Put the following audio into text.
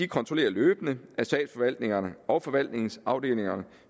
kontrollerer løbende at statsforvaltningerne og forvaltningsafdelingerne